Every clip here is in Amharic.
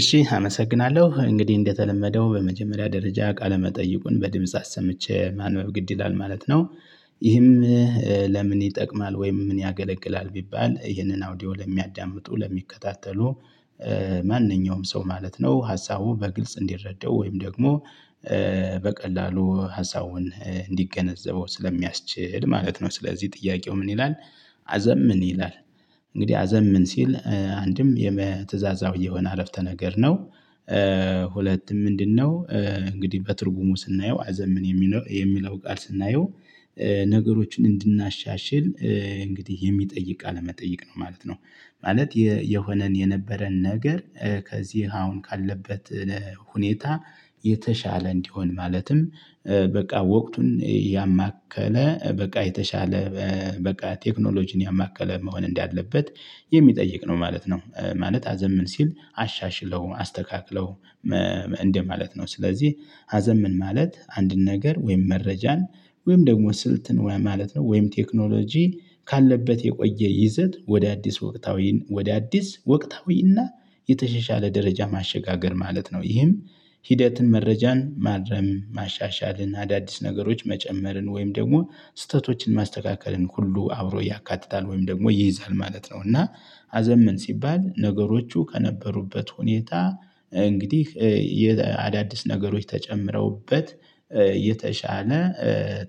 እሺ አመሰግናለሁ እንግዲህ እንደተለመደው በመጀመሪያ ደረጃ ቃለ መጠይቁን በድምጽ አሰምቼ ማንበብ ግድ ይላልማለት ነው። ይህም ለምን ይጠቅማል ወይም ምን ያገለግላል ቢባል ይህንን አውዲዮ ለሚያዳምጡ ለሚከታተሉ። ማንኛውም ሰው ማለት ነው ሀሳቡ በግልጽ እንዲረዳው ወይም ደግሞ በቀላሉ ሀሳቡን እንዲገነዘበው ስለሚያስችል ማለት ነው። ስለዚህ ጥያቄው ምን ይላል? አዘም ምን ይላል? እንግዲህ አዘም ምን ሲል አንድም የትእዛዛው እየሆነ አረፍተ ነገር ነው። ሁለት ምንድነው? እንግዲህ በትርጉሙ ስናየው አዘምን የሚለው ቃል ስናየው። ነገሮችን እንድናሻሽል እንግዲህ የሚጠይቅ ቃለመጠየቅ ነው ማለት ነው። ማለት የሆነን የነበረን ነገር ከዚህ አሁን ካለበት። ሁኔታ የተሻለ እንዲሆን ማለትም በቃ ወቅቱን ያማከለ በቃ የተሻለ። በቃ ቴክኖሎጂን ያማከለ መሆን እንዳለበት የሚጠይቅ ነው ማለት ነው። ማለት አዘምን ሲል አሻሽለው አስተካክለው እንደማለት ነው። ስለዚህ አዘምን ምን ማለት አንድን ነገር ወይም መረጃን ወይም ደግሞ ስልት ማለት ነው። ወይም ቴክኖሎጂ ካለበት የቆየ ይዘት ወደ አዲስ ወቅታዊ ወደ አዲስ ወቅታዊና የተሸሻለ ደረጃ ማሸጋገር ማለት ነው። ይህም ሂደትን መረጃን ማረም ማሻሻልን አዳዲስ ነገሮች መጨመርን ወይም ደግሞ ስህተቶችን ማስተካከልን ሁሉ አብሮ ያካትታል ወይም ደግሞ ይይዛል ማለት ነው። እና አዘምን ሲባል ነገሮቹ ከነበሩበት ሁኔታ እንግዲህ አዳዲስ ነገሮች ተጨምረውበት የተሻለ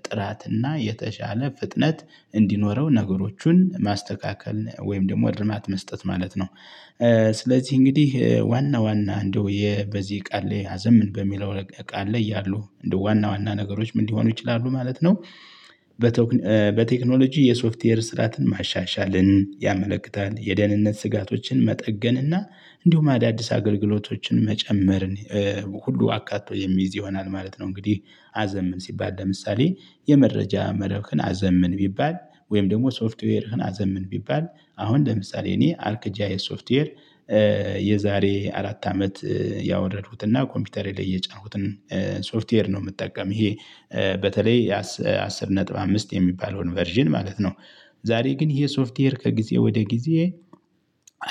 ጥራትና የተሻለ ፍጥነት እንዲኖረው ነገሮቹን ማስተካከል ወይም ደግሞ ድርማት መስጠት ማለት ነው። ስለዚህ እንግዲህ ዋና ዋና እንደው የበዚህ ቃል ላይ ያዘምን በሚለው ቃል ላይ ያሉ እንደ ዋና ዋና ነገሮች ምን ሊሆኑ ይችላሉ ማለት ነው። በቴክኖሎጂ የሶፍትዌር ስርዓትን ማሻሻልን ያመለክታል የደህንነት ስጋቶችን መጠገንና እንዲሁም አዳዲስ አገልግሎቶችን መጨመርን ሁሉ አካቶ የሚይዝ ይሆናል ማለት ነው። እንግዲህ አዘምን ሲባል ለምሳሌ የመረጃ መረብህን አዘምን ቢባል ወይም ደግሞ ሶፍትዌርህን አዘምን ቢባል አሁን ለምሳሌ እኔ አርክጃ የሶፍትዌር የዛሬ አራት አመት ያወረድኩትና ኮምፒውተሬ ላይ የጫንኩትን ሶፍትዌር ነው ምጠቀም ይሄ በተለይ አስር ነጥብ አምስት የሚባለውን ቨርዥን ማለት ነው። ዛሬ ግን ይሄ ሶፍትዌር ከጊዜ ወደ ጊዜ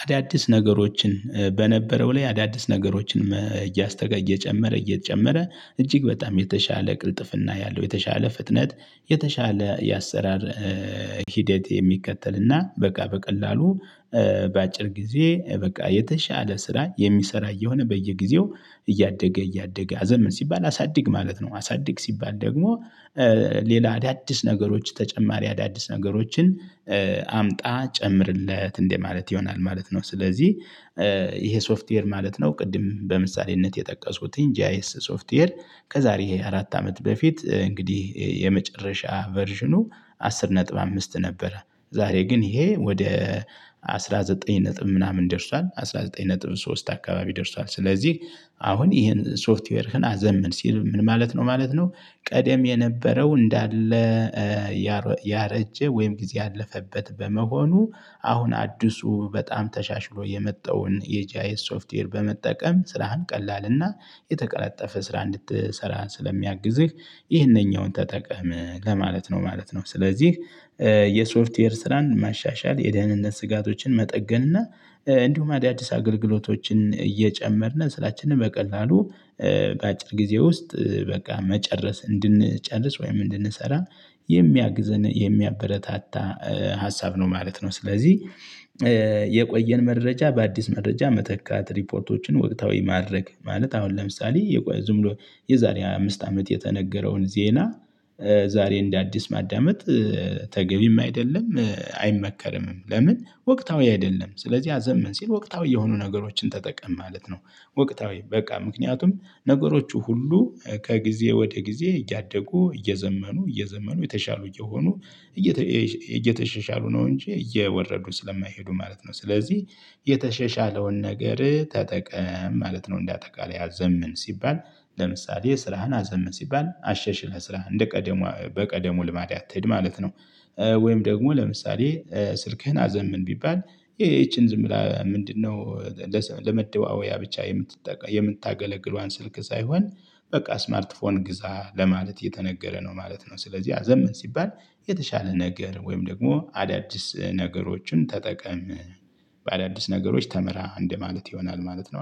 አዳዲስ ነገሮችን በነበረው ላይ አዳዲስ ነገሮችን እያስተጋ እየጨመረ እየጨመረ እጅግ በጣም የተሻለ ቅልጥፍና ያለው የተሻለ ፍጥነት የተሻለ የአሰራር ሂደት የሚከተልና በቃ በቀላሉ በአጭር ጊዜ በቃ የተሻለ ስራ የሚሰራ እየሆነ በየጊዜው እያደገ እያደገ አዘምን ምን ሲባል አሳድግ ማለት ነው። አሳድግ ሲባል ደግሞ ሌላ አዳዲስ ነገሮች ተጨማሪ አዳዲስ ነገሮችን አምጣ ጨምርለት እንደማለት ይሆናል ማለት ነው። ስለዚህ ይሄ ሶፍትዌር ማለት ነው። ቅድም በምሳሌነት የጠቀሱትን ጃይስ አይኤስ ሶፍትዌር ከዛሬ አራት አመት በፊት እንግዲህ የመጨረሻ ቨርዥኑ አስር ነጥብ አምስት ነበረ። ዛሬ ግን ይሄ ወደ አስራዘጠኝ ነጥብ ምናምን ደርሷል አስራ ዘጠኝ ነጥብ ሶስት አካባቢ ደርሷል። ስለዚህ አሁን ይሄን ሶፍትዌርህን አዘምን ሲል ምን ማለት ነው ማለት ነው። ቀደም የነበረው እንዳለ ያረጀ ወይም ጊዜ ያለፈበት በመሆኑ አሁን አዲሱ በጣም ተሻሽሎ የመጣውን የጃይት ሶፍትዌር በመጠቀም ስራህን ቀላልና የተቀላጠፈ ስራ እንድትሰራ ስለሚያግዝህ ይህንኛውን ተጠቀም ለማለት ነው ማለት ነው። ስለዚህ የሶፍትዌር ስራን ማሻሻል የደህንነት ስጋቶችን መጠገን እና እንዲሁም አዲስ አገልግሎቶችን እየጨመርን ስራችንን በቀላሉ በአጭር ጊዜ ውስጥ በቃ መጨረስ እንድንጨርስ ወይም እንድንሰራ የሚያግዘን የሚያበረታታ ሀሳብ ነው ማለት ነው። ስለዚህ የቆየን መረጃ በአዲስ መረጃ መተካት ሪፖርቶችን ወቅታዊ ማድረግ ማለት አሁን ለምሳሌ የቆየ ዝም ብሎ የዛሬ አምስት አመት የተነገረውን ዜና። ዛሬ እንደ አዲስ ማዳመጥ ተገቢም አይደለም አይመከርምም ለምን ወቅታዊ አይደለም። ስለዚህ አዘምን ሲል ወቅታዊ የሆኑ ነገሮችን ተጠቀም ማለት ነው። ወቅታዊ በቃ ምክንያቱም ነገሮቹ ሁሉ ከጊዜ ወደ ጊዜ እያደጉ እየዘመኑ እየዘመኑ የተሻሉ እየሆኑ እየተሻሻሉ ነው። እንጂ እየወረዱ ስለማይሄዱ ማለት ነው ስለዚህ የተሸሻለውን ነገር ተጠቀም ማለት ነው። አጠቃላይ አዘምን ሲባል ለምሳሌ የስራህን አዘምን ሲባል አሸሽለህ ስራህ እንደ ቀደሙ በቀደሙ ልማድ አትሄድ ማለት ነው። ወይም ደግሞ ለምሳሌ ስልክህን አዘምን ቢባል ይቺን ዝም ብላ ምንድነው? ለመደዋወያ ብቻ የምትጠቀም የምታገለግለዋን ስልክ ሳይሆን በቃ ስማርት ፎን ግዛ ለማለት የተነገረ ነው ማለት ነው። ስለዚህ አዘምን ሲባል የተሻለ ነገር ወይም ደግሞ አዳዲስ ነገሮችን ተጠቀም በአዳዲስ ነገሮች ተምራ እንደማለት ይሆናል ማለት ነው